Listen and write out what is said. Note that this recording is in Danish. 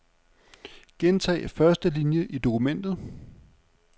Gentag første linie i dokumentet.